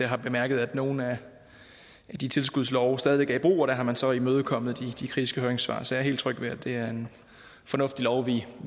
har bemærket at nogle af de tilskudslove stadig væk er i brug og der har man så imødekommet de kritiske høringssvar så jeg er helt tryg ved at det er en fornuftig lov vi